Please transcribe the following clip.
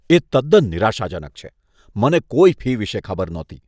એ તદ્દન નિરાશાજનક છે. મને કોઈ ફી વિશે ખબર નહોતી.